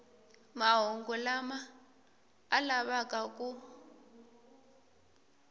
mahungu lama a lavaka ku